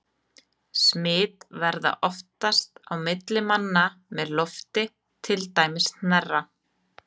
Smit verður oftast á milli manna með lofti, til dæmis hnerra.